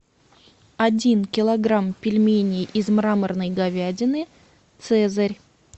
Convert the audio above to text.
один килограмм пельменей из мраморной говядины цезарь